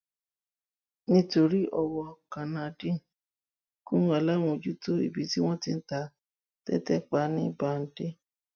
nítorí ọwọ kannaideen gun aláàmọjútó ibi tí wọn ti ń ta tẹtẹ pa ní badáy